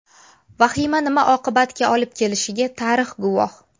Vahima nima oqibatga olib kelishiga tarix guvoh.